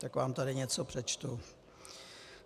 Tak vám tady něco přečtu: